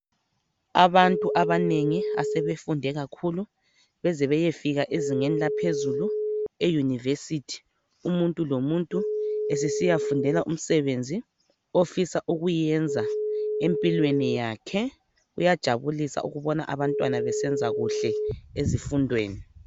Abantu abanengi asebefunde kakhulu beze beyefika ezingeni laphezulu euniversity. Umuntu lomuntu esesiya fundela umsebenzi ofisa ukuwenza empilweni yakhe . Kuyajabulisa ukubona abantwana besenza kuhle ezifundweni .